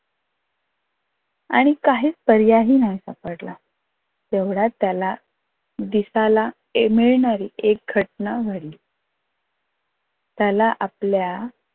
आणि काहीच पर्यायही नव्हता पटला. तेवढ्यात त्याला दिसायला मिळणारी एक घटना घडली त्याला आपल्या